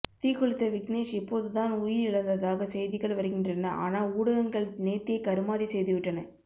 தீக்குளித்த விக்னேஷ் இப்போதுதான் உயிர் இழந்ததாக செய்திகள் வருகின்றன ஆனா ஊடகங்கள் நேத்தே கருமாதி செய்துவிட்டன